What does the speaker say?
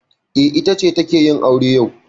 E, ita ce take yin aure yau.